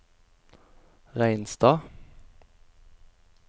Reinstad